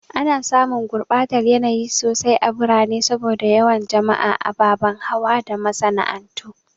Ana samun gurbatar yanayi sosai a birane saboda yawan jama'a, ababen hawa da masana'antu.